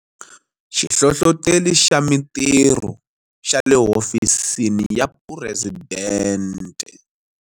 Xihlohloteri xa Mitirho xa le Hofisini ya Phuresidente.